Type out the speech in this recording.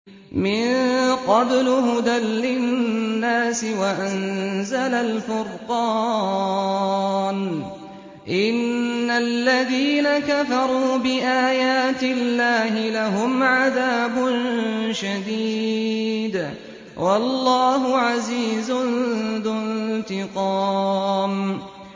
مِن قَبْلُ هُدًى لِّلنَّاسِ وَأَنزَلَ الْفُرْقَانَ ۗ إِنَّ الَّذِينَ كَفَرُوا بِآيَاتِ اللَّهِ لَهُمْ عَذَابٌ شَدِيدٌ ۗ وَاللَّهُ عَزِيزٌ ذُو انتِقَامٍ